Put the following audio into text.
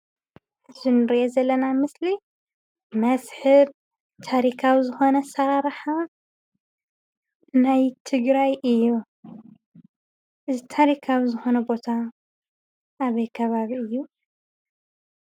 እዚ እንሪኦ ዘለና ኣብ ምስሊ መስሕብ ታሪካዊ ዝኮነ ኣሰራርሓ ናይ ትግራይ እዩ፡፡ እዚ ታሪካዊ ዝኾነ ቦታ ኣበይ ከባቢ እዩ?